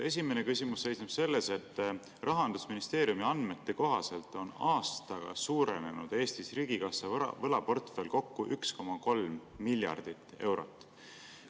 Esimene küsimus seisneb selles, et Rahandusministeeriumi andmete kohaselt on Eesti riigikassa võlaportfell aastaga suurenenud kokku 1,3 miljardit eurot.